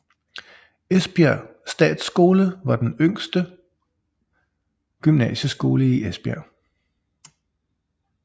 Esbjerg Statsskole var den ældste gymnasieskole i Esbjerg